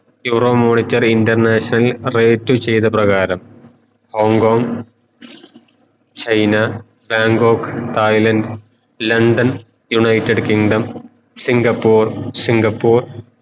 Euro monitor international rate ചെയ്ത പ്രകരം Hong Kong China Bangkok Thailand London United Kingdom Singapore Singapore